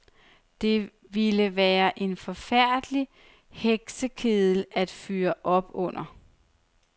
Det ville være en forfærdelig heksekedel at fyre op under.